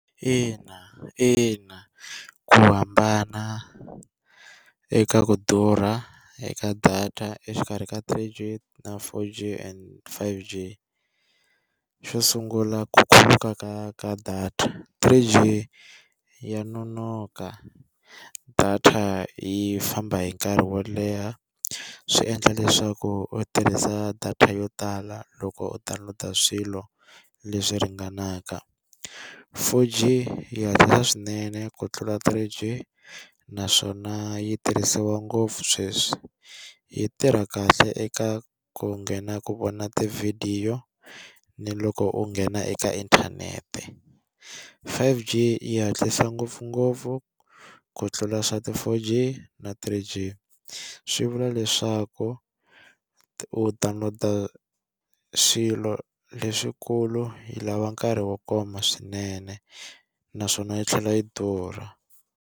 Ina ina ku hambana eka ku durha eka data exikarhi ka three-G na four-G and five-G, xo sungula ku khuluka ka ka data three-G ya nonoka, data yi famba hi nkarhi wo leha swi endla leswaku u tirhisa data yo tala loko u download-a swilo leswi ringanaka, four-G yi hatlisa swinene ku tlula three-G naswona yi tirhisiwa ngopfu sweswi yi tirha kahle eka ku nghena ku vona tivhidiyo ni loko u nghena eka inthanete, five-G yi hatlisa ngopfungopfu ku tlula swa ti-four-G na three-G, swi vula leswaku u download-a swilo leswikulu yi lava nkarhi wo koma swinene naswona yi tlhela yi durha.